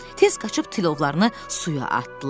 Tez qaçıb tilovlarını suya atdılar.